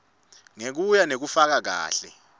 ngekuya ngekufaka kahle